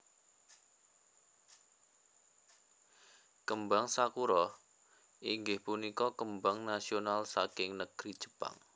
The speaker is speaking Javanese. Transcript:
Kembang Sakura inggih punika kembang nasional saking negri Jepang